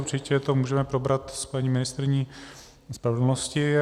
Určitě to můžeme probrat s paní ministryní spravedlnosti.